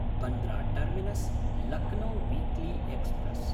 Bandra टर्मिनस्–लक्नो weekly express